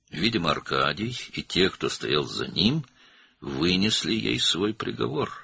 Görünür, Arkadi və onun arxasında duranlar ona hökmünü vermişdilər.